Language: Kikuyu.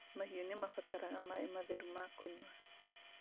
Mahiũ nĩmabataraga maĩ matheru ma kũnyua